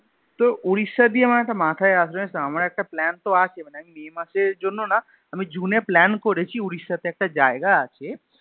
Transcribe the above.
তোর ওড়িষ্যা দিয়ে মানে একটা মাথায় আসলো জানিস তো আমার একটা plan তো আছে May মাসের জন্য না, আমি June এ plan করেছি ওড়িষ্যাতে একটা জায়গা আছে